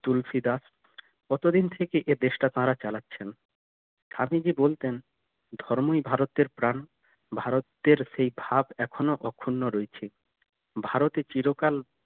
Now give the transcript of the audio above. তুলসি দাস কত দিন থেকে এই দেশ টা তারা চালাচ্ছেন স্বামীজি বলতেন ধর্মই ভারতের প্রাণ ভারতের সেই ভাব এখনো অখন্ড রয়েছে ভারতে চিরকাল